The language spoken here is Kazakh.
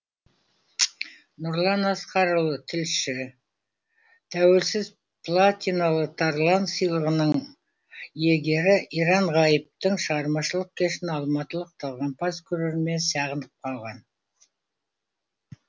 нұрлан асқарұлы тілші тәуелсіз платиналы тарлан сыйлығының иегері иран ғайыптың шығармашылық кешін алматылық талғампаз көрермен сағынып қалған